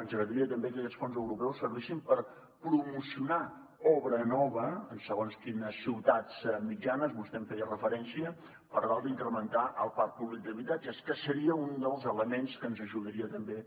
ens agradaria també que aquests fons europeus servissin per promocionar obra nova en segons quines ciutats mitjanes vostè en feia referència per tal d’incrementar el parc públic d’habitatges que seria un dels elements que ens ajudaria també